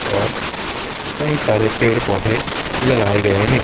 और कई सारे पेड़-पौधे लगाये गये है।